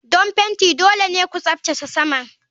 Don fenti dole ne ku tsaftace saman.